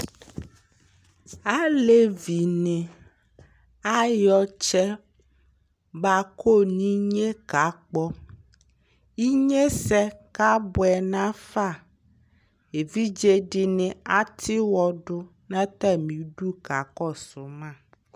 Alevɩ nɩ ayɔ ɔtsɛ bakɔ nɩnye kakpɔ ɩnye sɛ kabʋɛ nafa evɩdze dɩnɩ atɩ wɔdʋ natamɩlɩ kakɔsʋ ma